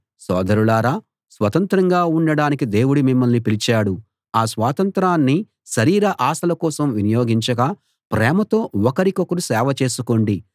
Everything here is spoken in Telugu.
సోదరులారా స్వతంత్రంగా ఉండడానికి దేవుడు మిమ్మల్ని పిలిచాడు ఆ స్వాతంత్రాన్ని శరీర ఆశల కోసం వినియోగించక ప్రేమతో ఒకరికొకరు సేవ చేసుకోండి